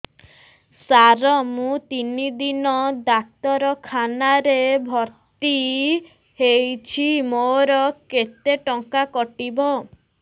ସାର ମୁ ତିନି ଦିନ ଡାକ୍ତରଖାନା ରେ ଭର୍ତି ହେଇଛି ମୋର କେତେ ଟଙ୍କା କଟିବ